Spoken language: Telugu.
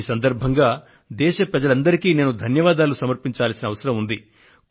ఈ సందర్భంగా దేశ ప్రజలందరికీ నేను ధన్యవాదాలను సమర్పించవలసిన అవసరం కూడా ఉంది